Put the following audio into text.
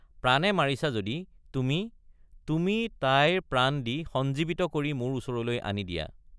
প্ৰাণে মাৰিছা যদি—তুমি—তুমি তাইৰ প্ৰাণ দি সঞ্জীৱিত কৰি মোৰ ওচৰলৈ আনি দিয়া।